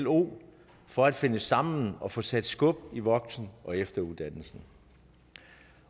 lo for at finde sammen og få sat skub i voksen og efteruddannelsen